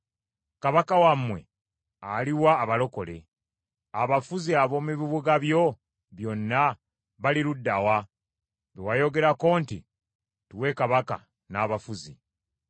Kabaka wammwe ali wa, abalokole? Abafuzi ab’omu bibuga byo byonna bali ludda wa, be wayogerako nti, ‘Tuwe kabaka n’abafuzi?’